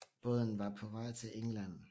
Båden var på vej til England